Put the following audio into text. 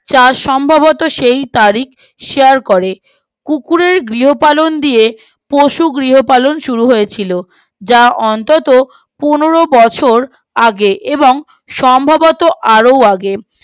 চার সম্ভবত সেই তারিখ করে কুকুরের গৃহ পালন দিয়ে পশু গৃহ পালন শুরু হয়েছিল যা অন্ততও পনেরো বছর আগে এবং সম্ভবত আরো আগে